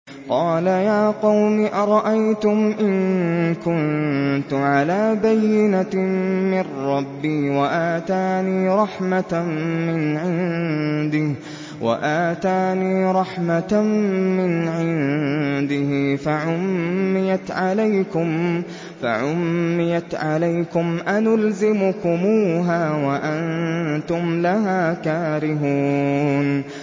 قَالَ يَا قَوْمِ أَرَأَيْتُمْ إِن كُنتُ عَلَىٰ بَيِّنَةٍ مِّن رَّبِّي وَآتَانِي رَحْمَةً مِّنْ عِندِهِ فَعُمِّيَتْ عَلَيْكُمْ أَنُلْزِمُكُمُوهَا وَأَنتُمْ لَهَا كَارِهُونَ